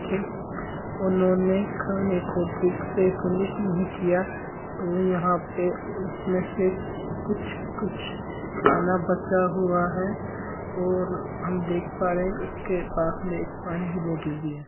उन्होंने खाने को ठीक से फिनिश नही किया तो यहां पे कुछ कुछ खाना बचा हुआ है और हम देख पा रहे है उसके पास एक पानी की बोतल भी है।